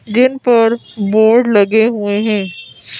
जिन पर बोर्ड लगे हुए है।